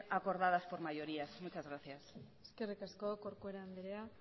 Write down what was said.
acordadas por mayoría muchas gracias eskerrik asko corcuera andereak